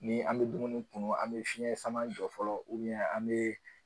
Ni an bɛ dumuni kunun an bɛ fiɲɛ sama jɔ fɔlɔ an bɛ